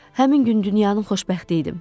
Həmin gün dünyanın xoşbəxti idim.